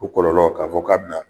O kɔlɔlɔ k'a fɔ k'a bɛna